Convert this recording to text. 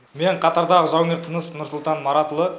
мен қатардағы жауынгер тынысов нұрсұлтан маратұлы